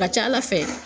Ka ca ala fɛ